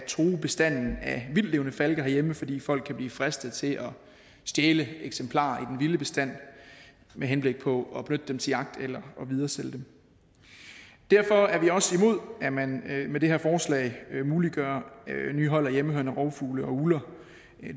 true bestanden af vildtlevende falke herhjemme fordi folk kan blive fristet til at stjæle eksemplarer i vilde bestand med henblik på at benytte dem til jagt eller videresælge dem derfor er vi også imod at man med det her forslag muliggør nye hold af hjemmehørende rovfugle og ugler